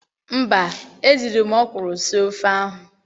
Mba, ejiri m ọkwụrụ sie ofe ahụ.